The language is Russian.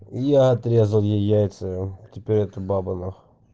я отрезал ей яйца теперь это баба нах